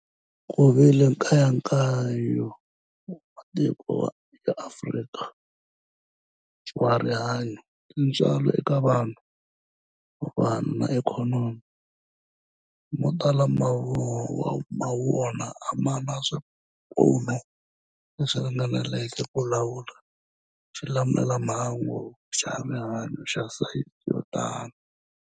Ku vile nkayakayo wa matiko ya Afrika wa rihanyu, tintswalo eka vanhu, vanhu na ikhonomi, mo tala ma wona a ma na swipfuno leswi ringaneleke ku lawula xilamulelamhangu xa rihanyu xa sayizi yo tani.